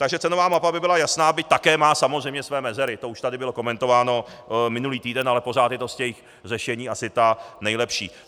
Takže cenová mapa by byla jasná, byť také má samozřejmě svoje mezery, to už tady bylo komentováno minulý týden, ale pořád je to z těch řešení asi tak nejlepší.